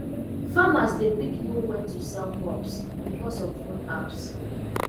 farmers dey quick know when to sell crops because of phone apps